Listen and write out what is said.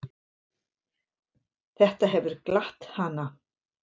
Þetta hefur glatt hana.